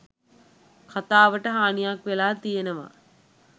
කතාවට හානියක් වෙලා තියෙනවා